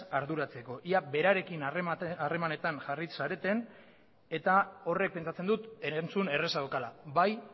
arduratzeko ea berarekin harremanetan jarri zareten eta horrek pentsatzen dut erantzun erraza daukala bai